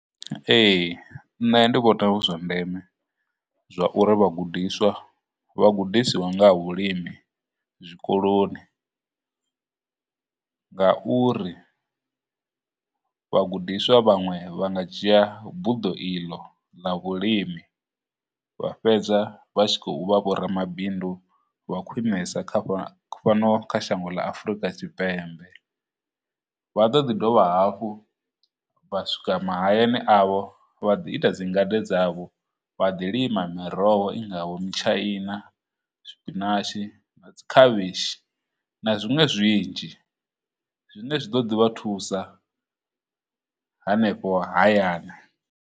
Ee, nṋe ndi vhona hu zwa ndeme zwa uri vhagudiswa vha gudisiwe nga ha vhulimi zwikoloni, ngauri vhagudiswa vhaṅwe vha nga dzhia buḓo iḽo ḽa vhulimi vha fhedza vha tshi khou vha vho ramabindu vha khwinesa kha fhano kha shango ḽa Afurika Tshipembe, vha ḓo ḓi dovha hafhu vha swika mahayani avho vha ḓi ita dzingade dzavho vha ḓi lima miroho i ngaho mitshaina, na dzikhavhishi, na zwiṅwe zwinzhi zwine zwi ḓo ḓi vha thusa hanefho hayani.